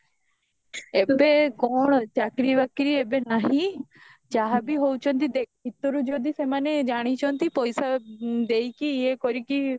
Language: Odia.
ଏବେ କଣ ଚାକିରୀ ବାକିରୀ ଏବେ ନାହିଁ ଯାହା ବି ହଉଛନ୍ତି ଦେଖ ଭିତରୁ ଯଦି ସେମାନେ ଜାଣିଛନ୍ତି ପଇସା ଦେଇକି ଇଏ କରିକି